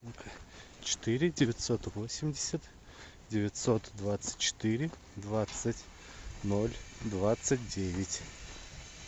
четыре девятьсот восемьдесят девятьсот двадцать четыре двадцать ноль двадцать девять